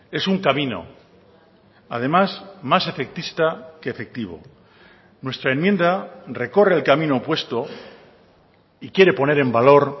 es un camino además más efectista que efectivo nuestra enmienda recorre el camino opuesto y quiere poner en valor